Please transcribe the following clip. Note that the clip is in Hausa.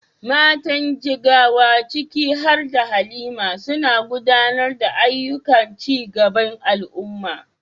Matan Jigawa, ciki har da Halima, suna gudanar da ayyukan ci gaban al’umma.